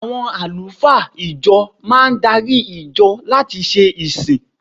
Àwọn àlùfáà ìjọ máa darí ìjọ láti ṣe ìsìn.